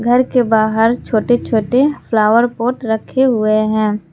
घर के बाहर छोटी छोटी फ्लावर पॉट रखें हुए हैं।